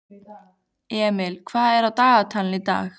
Emil, hvað er á dagatalinu í dag?